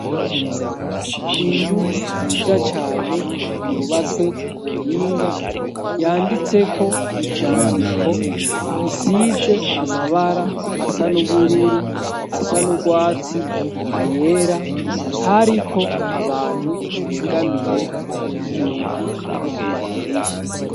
Inzu nziza cane yubatswe ku buhinga, yanditseko ivyandiko, isize amabara asa n'ubururu, asa n'urwatsi, ayera hariko abantu begamiye ku nzugi no ku madirisha.